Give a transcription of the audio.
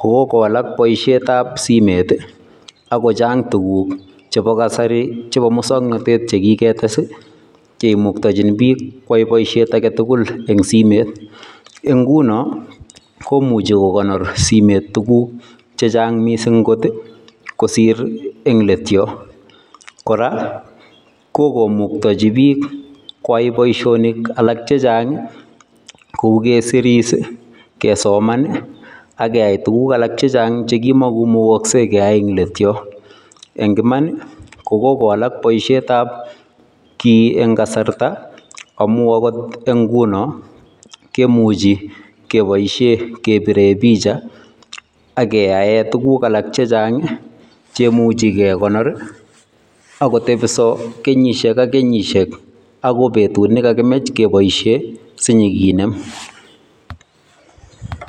koko walak boisietab simet ako chang tuguk chebo kasri chebo muswoknatet che kiketes kemuktachin biik koyai boisiet agetugul eng simet. Eng nguno komuchi kokonor simet tuguk chechang mising kot kosiir eng let yo, kora, kokomuktachi koyai boisonik alak chechang kou keseris, kesoman ak keyai tuguk alak chechang chekima imukaksei keyai eng let yo. Eng iman ko kikowalak boisietab kiiy eng kasarta amun akot eng nguno kemuchi kepoishe kepire picha ake keyae tuguk alak chechang che imuchi kekonor ako tepso kenyisiek ak kenyisiek akoi betut nekakimech kepoishe sinyikinem.